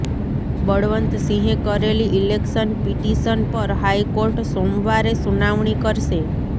બળવંતસિંહે કરેલી election petition પર high court સોમવારે સુનાવણી કરશે